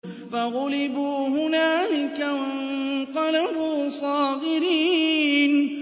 فَغُلِبُوا هُنَالِكَ وَانقَلَبُوا صَاغِرِينَ